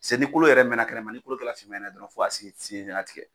Se ni kolo yɛrɛ minɛ kɛnɛma, ni kolo kɛla finni fɛn ye dɔrɔn fɔ ka sen sen fana tigɛ.